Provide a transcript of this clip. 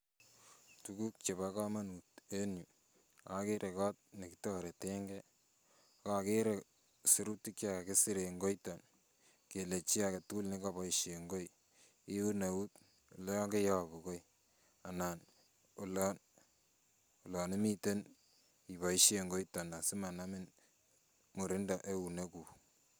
Tuguk chepo komonut en yu akere kot nekitoretenge ,akokere sirutik chekakisir en koito kele chi aketugul kaboisien koi iun eut olon koiyobu koi anan olon imiten iboisien koito asimanamin murindo euneguk.